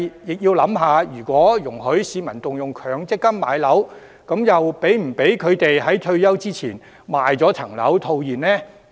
不過，如果讓市民可以動用強積金買樓，又是否容許他們在退休前賣樓套現呢？